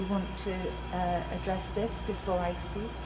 Do you want to address this before I speak?